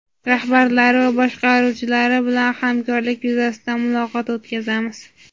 rahbarlari va boshqaruvchilari bilan hamkorlik yuzasidan muloqot o‘tkazamiz.